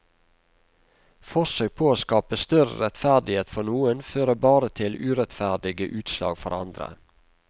Forsøk på å skape større rettferdighet for noen, fører bare til urettferdige utslag for andre.